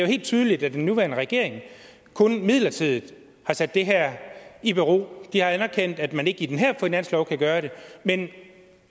helt tydeligt at den nuværende regering kun midlertidigt har sat det her i bero de har anerkendt at man ikke i den her finanslov kan gøre det men